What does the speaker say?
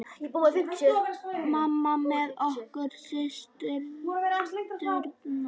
Mamma með okkur systurnar.